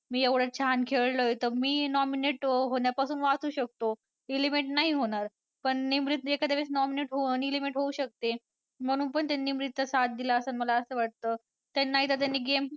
मी एवढं छान खेळलोय तर मी nominate होण्यापासून वाचू शकतो. eliminate नाही होणार पण निमरीत एखाद्या वेळेस nominate eliminate होऊ शकते म्हणून पण त्याने निमरीतचा साथ दिला असेल असं मला वाटतं. त्यांना एकदा त्यांनी game